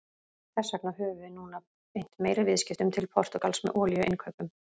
Þess vegna höfum við núna beint meiri viðskiptum til Portúgals með olíuinnkaup.